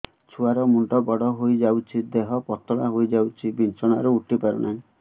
ଛୁଆ ର ମୁଣ୍ଡ ବଡ ହୋଇଯାଉଛି ଦେହ ପତଳା ହୋଇଯାଉଛି ବିଛଣାରୁ ଉଠି ପାରୁନାହିଁ